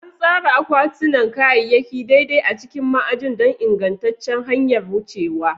An tsara akwatunan kayayyaki daidai a cikin ma'ajin don ingantaccen hanyar wucewa.